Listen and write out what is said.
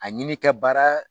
A ɲini ka baara